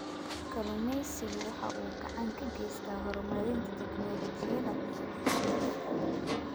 Kalluumaysigu waxa uu gacan ka geystaa horumarinta tignoolajiyada cusub.